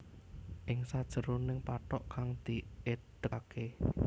Ing sajeroning pathok kang diedekake